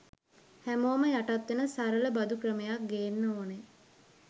හැමෝම යටත් වෙන සරල බදු ක්‍රමයක් ගේන්න ඕනේ